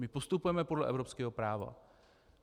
My postupujeme podle evropského práva.